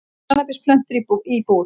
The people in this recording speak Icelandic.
Kannabisplöntur í íbúð